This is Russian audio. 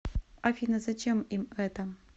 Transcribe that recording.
афина зачем им это